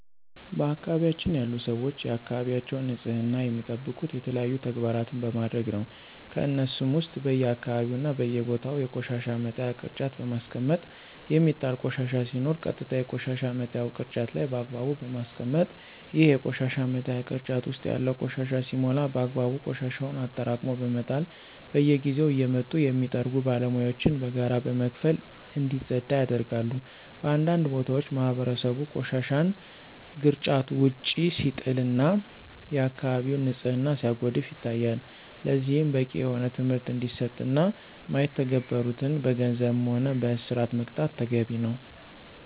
በአካባቢያችን ያሉ ሰወች የአካባቢያቸውን ንፅህና የሚጠብቁት የተለያዩ ተግባራን በማድረግ ነው። ከነሱሞ ውስጥ በየአካባቢው እና በየቦታው የቆሻሻ መጣያ ቅርጫት በማስቀመጥ የሚጣል ቆሻሻ ሲኖር ቀጥታ የቆሻሻ መጣያው ቅርጫት ላይ በአግባቡ በማስቀመጥ፣ ይሄ የቆሻሻ መጣያ ቅርጫት ውስጥ ያለው ቆሻሻ ሲሞላ በአግባቡ ቆሻሻውን አጠራቅሞ በመጣል፣ በየጊዜው እየመጡ የሚጠርጉ ባለሙያወችን በጋራ በመክፈል እንዲፀዳ ያደርጋሉ። በአንዳንድ ቦታዎች ማህበረሰቡ ቆሻሻን ግርጫት ውጭ ሲጥል እና የአከባቢውን ንፅህና ሲያጎድፍ ይታያል። ለዚህም በቂ የሆነ ትምህርት እንዲሰጥ እና ማይተገብሩትን በገንዘብም ሆነ በእስር መቅጣት ተገቢ ነው።